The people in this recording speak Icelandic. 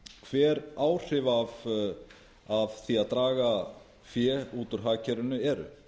hver áhrif af því að draga fé út úr hagkerfinu eru